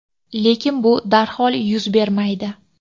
lekin bu darhol yuz bermaydi.